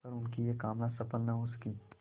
पर उनकी यह कामना सफल न हो सकी